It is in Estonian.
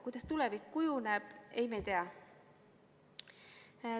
Kuidas tulevik kujuneb, me ei tea.